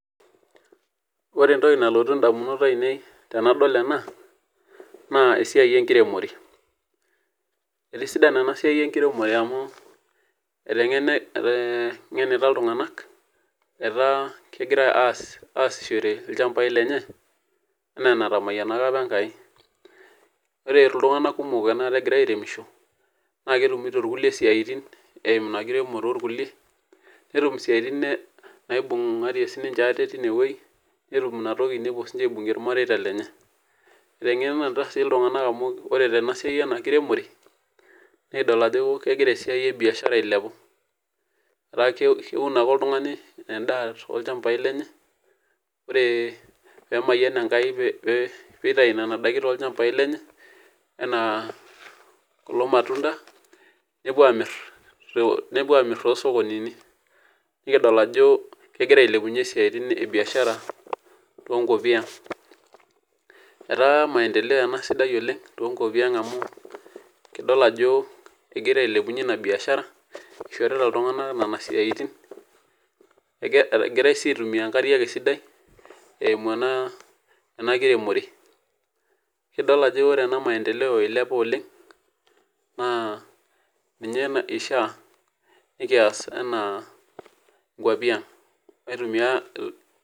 Ore entoki nalotu ndamunot ainei tanadol ena na esiai enkiremore etisidana enasia enkiremore amu etengenina ltunganak etaa kegira aaishore lchambai lenye anaa enatamayianaka apa enkai ore ltunganak kumok ogira aremisho naetumito irkulie siatin eimu ena kiremore orkulie netum isiatin naibungarie sinye tinewueji netum isiatin nepuo dinche aibungie irmareita lenye etengeneta ltunganak amu ore tenasia enkiremore nikidol ajo kegira esuai ebiashara ailepu ataa keun ake oltungani endaa ore pemayian enkai pitau endaa tolchambai lenye anaa kulo matunda nepuo amit tosokoni nikidol ajo kegira ailepunye biashara ataa maendelea sidan tenkop aang amu kidol ajo egira ailepunye inabiashara egirai si aitumia enkare esidai eimu naa enakiremore ekidil ajo ore ena maendeleo ilepua oleng ma ninye ishaa pekias anaa nkwapi aang